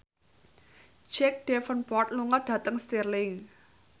Jack Davenport lunga dhateng Stirling